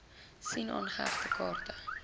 sien aangehegte kaarte